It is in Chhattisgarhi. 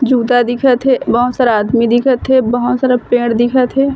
जूता दिखत हे बहोत सारा आदमी दिखत हे बहोत सारा पेड़ दिखत हे।